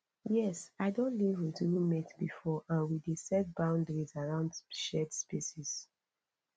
yes i don live with roommate before and we dey set boundaries around shared spaces